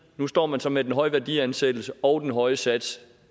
nu står man så med den høje værdiansættelse og den høje sats